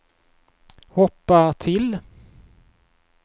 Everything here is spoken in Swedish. hoppa till